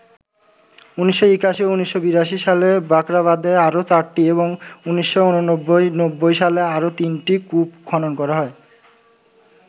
১৯৮১ ও ১৯৮২ সালে বাখরাবাদে আরো ৪টি এবং ১৯৮৯- ৯০ সালে আরো ৩টি কূপ খনন করা হয়।